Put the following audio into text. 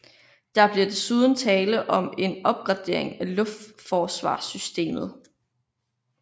Der bliver desuden tale om en opgradering af luftforsvarssystemet